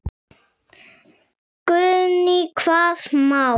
Guðný: Hvaða mál?